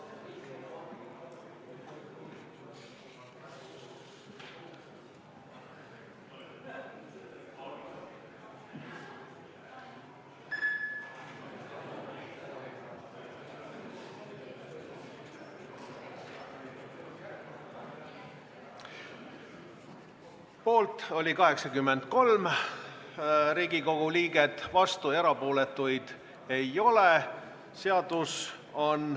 Hääletustulemused Poolt oli 83 Riigikogu liiget, vastuolijaid ja erapooletuid ei ole.